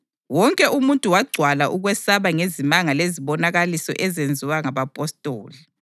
Wonke umuntu wagcwala ukwesaba ngezimanga lezibonakaliso ezenziwa ngabapostoli.